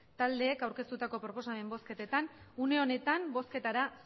taldeek aurkeztutako proposamen bozketetan une honetan bozketara